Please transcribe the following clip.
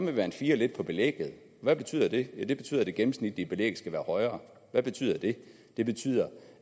man fire lidt på belægget hvad betyder det ja det betyder at det gennemsnitlige belæg skal være højere hvad betyder det det betyder